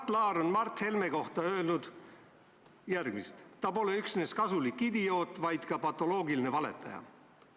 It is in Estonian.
Mart Laar on Mart Helme kohta öelnud järgmist: "Ta pole üksnes kasulik idioot, vaid ka patoloogiline valetaja.